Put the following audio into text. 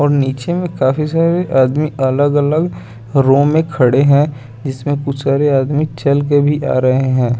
और नीचे में काफी सारे आदमी अलग अलग रूम में खड़े हैं जिसमें कुछ सारे आदमी चलके भी आ रहे हैं।